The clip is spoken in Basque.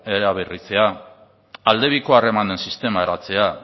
eraberritzea aldebiko harremanen sistema eratzea